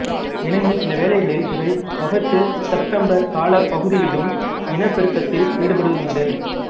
எனினும் சில வேளைகளில் இவை ஓகத்துசெப்டெம்பர் காலப் பகுதியிலும் இனப்பெருக்கத்தில் ஈடுபடுவதுண்டு